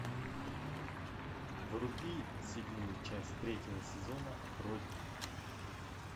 вруби седьмую часть третьего сезона родина